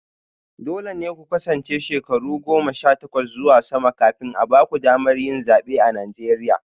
Dole ne ku kasance shekaru goma sha takwas zuwa sama kafin a ba ku damar yin zabe a Najeriya